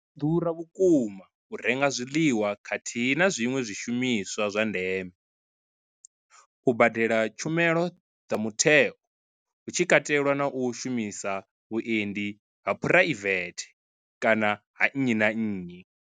ḓura vhukuma u renga zwiḽiwa khathihi na zwiṅwe zwishumiswa zwa ndeme, u badela tshumelo dza mutheo hu tshi katelwa na u shumisa vhuendi ha phuraivethe kana ha nnyi na nnyi.